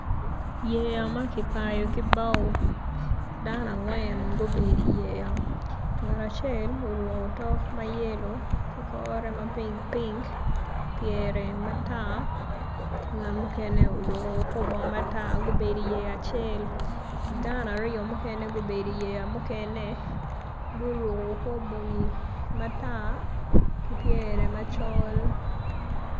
Yeya ma kipayo ki bao dano gubedo iyeya dano aryo gubedo i yeya mukene guruko kor bongi matar ki pyere macol.